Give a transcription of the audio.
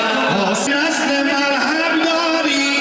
Biz sənə mərhəmət edirik.